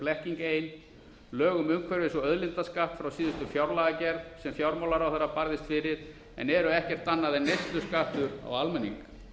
blekking ein lög um umhverfis og auðlindaskatt frá síðustu fjárlagagerð sem fjármálaráðherra barðist fyrir en eru ekkert annað en neysluskattur á almenning